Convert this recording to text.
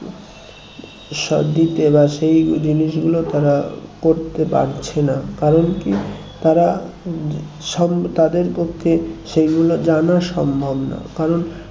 দিতে বা সেই জিনিসগুলো তারা করতে পারছে না কারণ কি তারা সম তাদের পক্ষে সেই গুলো জানা সম্ভব না কারণ